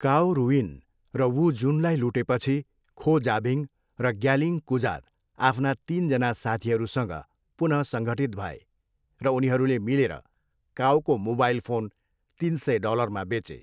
काओ Ruyin र Wu जुनलाई लुटेपछि खो जाबिङ र ग्यालिङ कुजात आफ्ना तिन जना साथीहरूसँग पुनः सङ्गठित भए र उनीहरूले मिलेर काओको मोबाइल फोन तिन सय डलरमा बेचे।